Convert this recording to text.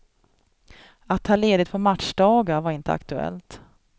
Att ta ledigt på matchdagar var inte aktuellt.